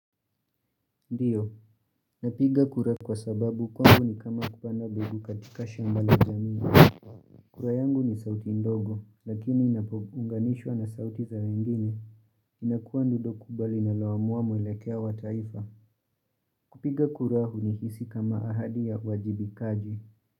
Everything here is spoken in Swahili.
Ndiyo, napiga kura kwa sababu kwangu ni kama kupanda mbegu katika shambala jamii. Kura yangu ni sauti ndogo, lakini inapounganishwa na sauti za wengine. Inakuwa ndilo kubwa linalo amua mwelekea wa taifa. Kupiga kura hunihisi kama ahadi ya wajibikaji.